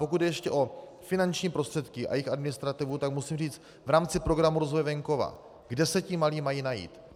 Pokud jde ještě o finanční prostředky a jejich administrativu, tak musím říci, v rámci Programu rozvoje venkova, kde se ti malí mají najít?